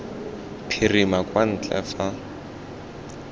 phirima kwa ntle ga fa